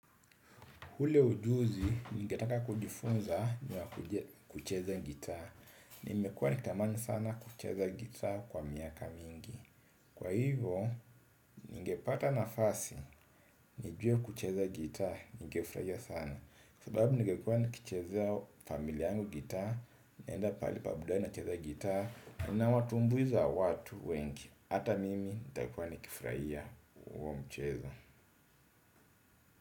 Ule ujuzi ningetaka kujifunza ni wa kucheza gitaa. Nimekuwa nikitamani sana kucheza gitaa kwa miaka mingi. Kwa hivyo, ningepata nafasi, nijue kucheza gitaa, ningefurahia sana. Kwa sababu ningekuwa nikichezea familia yangu gitaa, naenda pahali pa burudani nacheza gitaa, unawatumbuiza watu wengi. Hata mimi nitakuwa nikifurahia huo mchezo.